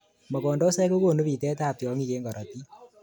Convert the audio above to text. Mogondosoik kokonu bitetab tiongik eng korotik